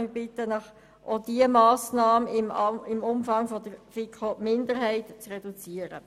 Wir bitten Sie, auch diese Massnahme um den Umfang des Antrags der Minderheit der FiKo zu reduzieren.